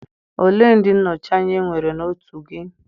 ole ndị nnọchi anya enwere na otu gị?